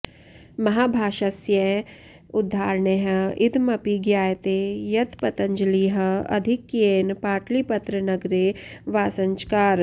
महाभाष्यस्य उदाहरणैः इदमपि ज्ञायते यत् पतञ्जलिः आधिक्येन पाटलिपत्रनगरे वासञ्चकार